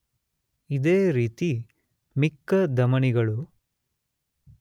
ಇದೇ ರೀತಿ ಮಿಕ್ಕ ಧಮನಿಗಳು.